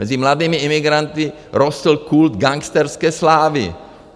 Mezi mladými imigranty rostl kult gangsterské slávy.